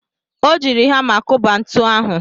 Ọ jiiri hama kụba ntu ahụ.